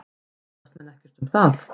Efast menn ekkert um það?